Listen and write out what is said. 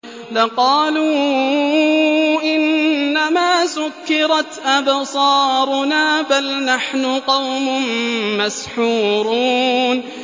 لَقَالُوا إِنَّمَا سُكِّرَتْ أَبْصَارُنَا بَلْ نَحْنُ قَوْمٌ مَّسْحُورُونَ